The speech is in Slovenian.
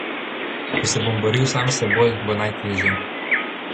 Če se bom boril sam s seboj, bo najtežje.